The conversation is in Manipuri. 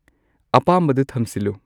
ꯑꯄꯥꯝꯕꯗꯨ ꯊꯝꯁꯤꯜꯂꯨ